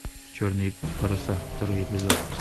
черные паруса второй эпизод